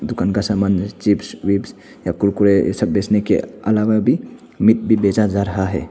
दुकान का सामान जैसे चिप्स विप्स या कुरकुरे ये सब बेचने के अलावा भी मिट भी बेचा जा रहा है।